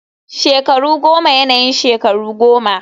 shekaru goma yana yin shekaru goma